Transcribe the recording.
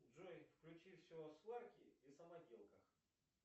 джой включи все о сварке и самоделках